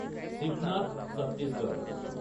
Shivnath Chhattisgarh